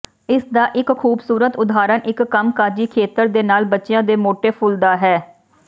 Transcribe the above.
ਇਸਦਾ ਇੱਕ ਖੂਬਸੂਰਤ ਉਦਾਹਰਨ ਇੱਕ ਕੰਮਕਾਜੀ ਖੇਤਰ ਦੇ ਨਾਲ ਬੱਚਿਆਂ ਦੇ ਮੋਟੇ ਫੁੱਲ ਦਾ ਹੈ